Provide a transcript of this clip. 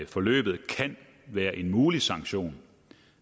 forløbet kan være en mulig sanktion